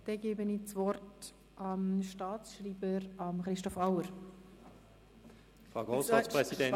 Dann gebe ich dem Staatsschreiber, Christoph Auer, das Wort.